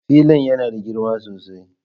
Filin yana da girma sosai.